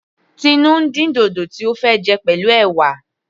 Tinu ń dín dòdò tí ó fẹ́ jẹ pẹ̀lú ẹ̀wà.